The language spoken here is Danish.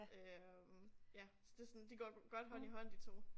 Øh ja så det sådan de går godt hånd i hånd de 2